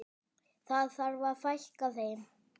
Það þarf að fækka þeim.